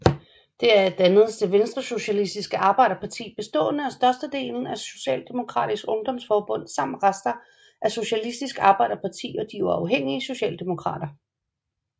Deraf dannedes det Venstresocialistiske Arbejderparti bestående af størstedelen af Socialdemokratisk Ungdomsforbund samt rester af Socialistisk Arbejderparti og de uafhængige Socialdemokrater